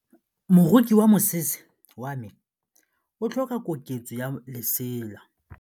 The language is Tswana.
Moroki wa mosese wa me o tlhoka koketsô ya lesela.